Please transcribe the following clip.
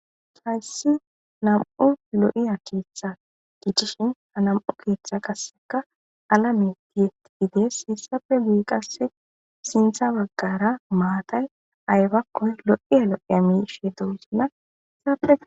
hayssi nam'u lo'iya keeththa gitishin ha nam7u keeththa qasseka alame ti gides hissape gui qasse sintha baggara maatay aybakkoy lo7iya lo7iya miishe doosona